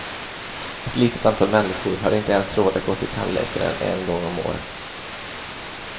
Ett litet antal människor har inte ens råd att gå till tandläkaren en gång om året.